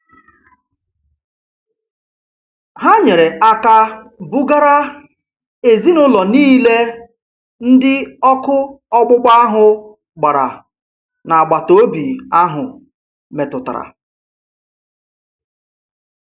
Ha nyere aka bugara ezinụlọ niile ndị ọkụ ọgbụgba ahụ gbara n'agbataobi ahụ metụtara